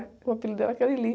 O apelido dela que é Lili.